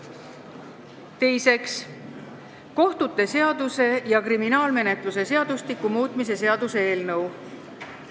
Teiseks, kohtute seaduse ja kriminaalmenetluse seadustiku muutmise seaduse eelnõu.